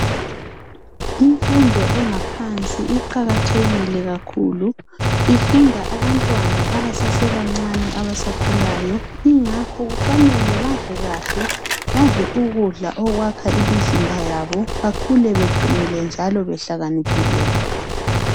Imfundo engaphansi iqakathekile kakhulu ifunda abantwana abasasebancane abasakhulayo ingakho kufanele badle kahle badle ukudla okwakha imizimba yabo bekhule beqinile njalo behlakaniphile.